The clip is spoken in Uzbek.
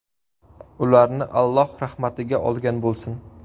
Ularni Alloh rahmatiga olgan bo‘lsin.